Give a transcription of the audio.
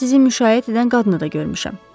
Hətta sizi müşayiət edən qadını da görmüşəm.